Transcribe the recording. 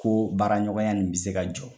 Ko baara ɲɔgɔnya in bɛ se ka jɔ.